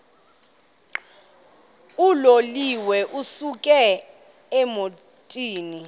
uloliwe ukusuk emontini